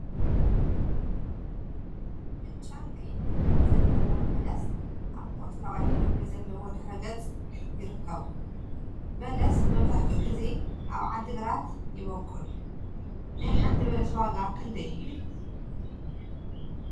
ብጫን ቀይሕን ሕብሪ ዘለዎም በለስ አብ ቆፅለዋይ ሕብሪ ዘለዎ ድሕረ ገፅ ይርከቡ፡፡ በለሰ መብዛሕትኡ ግዜ አብ ዓዲ ግራት ይበቁል፡፡ ናይ ሓንቲ በለስ ዋጋ ክንደይ እዩ?